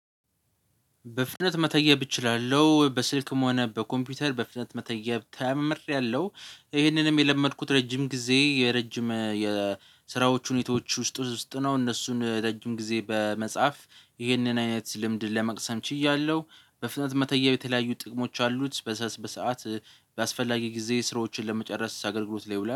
በፍጥነት መተየብ እችላለሁ በስልክም ሆነ በኮምፒውተር በፍጥነት መተየብ ተምሬያለሁ። ይሄንንም የለመድኩት ረጅም ጊዜ የረጅም የስራዎች ሁኔታዎች ውስጥ ውስጥ ነው። እነሱን ረጅም ጊዜ በመጻፍ ይህንን አይነት ልምድ ለመቅሰም ችያለሁ። በፍጥነት መተየብ የተለያዩ ጥቅሞች አሉት በሰአት በሰአት። በአስፈላጊ ጊዜ ስራዎችን ለመጨረስ አገልግሎት ላይ ይውላል